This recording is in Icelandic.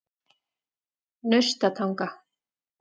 Naustatanga